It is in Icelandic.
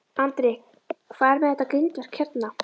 Andri: Hvað er með þetta grindverk hérna?